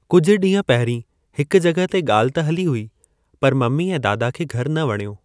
कुझु ॾींह पहरीं हिक जॻहि ॻाल्हि ते हली हुई, पर ममी ऐ दादा खे घरु न वणियो।